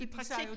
I praktik